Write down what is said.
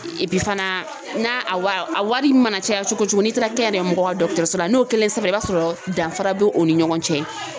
fana na a wa a wari mana caya cogo o cogo n'i taara kɛnyɛrɛye mɔgɔw ka so la n'o kɛlen sɛbɛra i b'a sɔrɔ danfara bɛ u ni ɲɔgɔn cɛ.